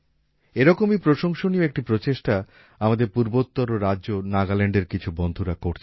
এরকমই প্রশংসনীয় একটি প্রচেষ্টা আমাদের পূর্বত্তর রাজ্য নাগাল্যান্ড এর কিছু বন্ধুরা করছেন